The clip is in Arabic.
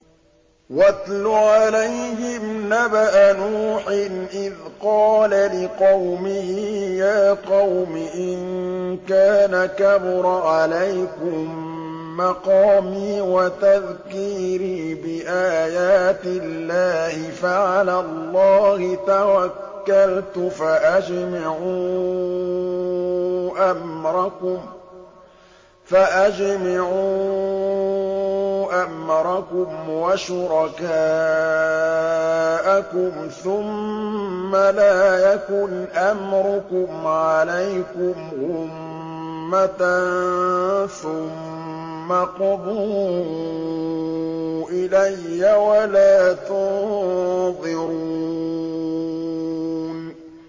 ۞ وَاتْلُ عَلَيْهِمْ نَبَأَ نُوحٍ إِذْ قَالَ لِقَوْمِهِ يَا قَوْمِ إِن كَانَ كَبُرَ عَلَيْكُم مَّقَامِي وَتَذْكِيرِي بِآيَاتِ اللَّهِ فَعَلَى اللَّهِ تَوَكَّلْتُ فَأَجْمِعُوا أَمْرَكُمْ وَشُرَكَاءَكُمْ ثُمَّ لَا يَكُنْ أَمْرُكُمْ عَلَيْكُمْ غُمَّةً ثُمَّ اقْضُوا إِلَيَّ وَلَا تُنظِرُونِ